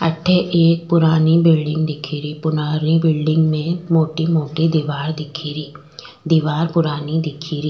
अठे एक पुरानी बिलडिंग दिखे री पुरानी बिलडिंग में मोटी मोटी दिवार दिखे री दिवार पुरानी दिखे री।